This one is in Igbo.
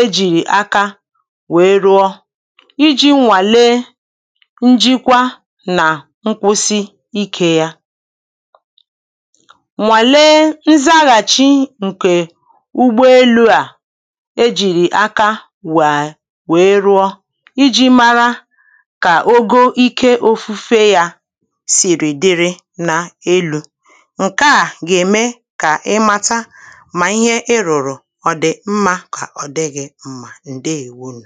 e jìrì aka wèe rụọ ijī nwàle njikwa nà nkwụsị ikē yā nwàle nzaghàchi ǹkè ụgbọelū à e jìrì aka wèé wèe rụọ ijī mara kà ogo ike ofufe yā sìrì dịrị ná élū ǹke à gà-ème kà ị mata mà ihe ị rụ̀rụ̀ ọ̀ dị̀ mmā kà ọ̀ dịghị̄ mmā ǹdeèwonù